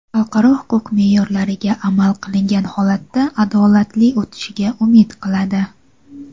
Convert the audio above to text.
xalqaro huquq meʼyorlariga amal qilingan holatda adolatli o‘tishiga umid qiladi.